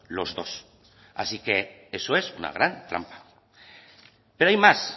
los dos así que eso es una gran trampa pero hay más